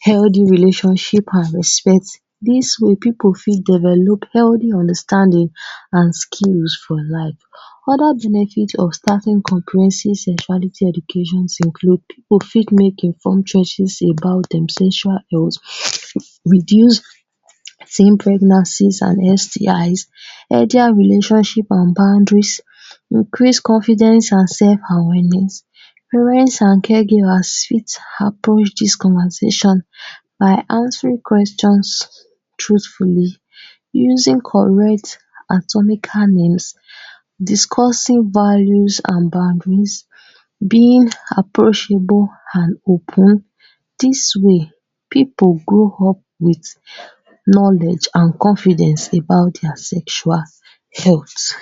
healthy relationship an respect. Dis way, pipu fit develop healthy understanding an skills for life. Other benefit of starting comprehensive sexuality educations include: pipu fit make informed choices about dem sexual health; reduce teen pregnancies an STIs; healthier relationship an boundaries; increase confidence an sef awareness. Parents an caregivers fit approach dis conversation by answering questions truthfully, using correct atomical names, discussing values an boundaries, being approachable an open. Dis way, pipu grow up with knowledge an confidence about dia sexual health.